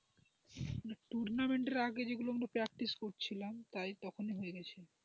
টুর্নামেন্টের আগে যে গুলো আমরা practice করছিলাম তাই তখনই হয়ে গেছে।